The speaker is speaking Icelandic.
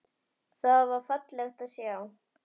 Það var fallegt að sjá.